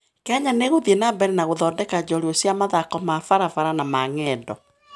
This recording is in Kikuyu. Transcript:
Kenya nĩ ĩgũthiĩ na mbere na gũthondeka njorua cia mathako ma barabara na ma ng'endo.